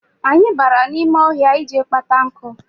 Anyị bara n'ime ọhịa ịje kpata nkụ.